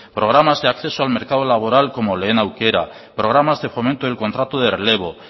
programas de acceso al mercado laboral como lehen aukera programas de fomento del contrato de relevo